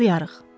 Başlayarıq.